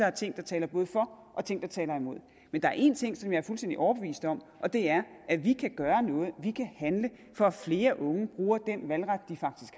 er ting der taler for og ting der taler imod men der er en ting som jeg er fuldstændig overbevist om og det er at vi kan gøre noget at vi kan handle for at flere unge bruger den valgret de faktisk